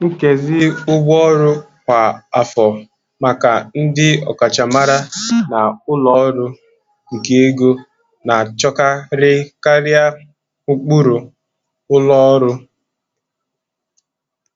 Nkezi ụgwọ ọrụ kwa afọ maka ndị ọkachamara na ụlọ ọrụ nke ego na-achọkarị karịa ụkpụrụ ụlọ ọrụ.